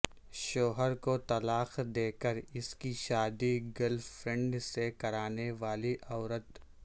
شوہر کو طلاق دے کر اس کی شادی گرل فرینڈ سے کرانے والی عورت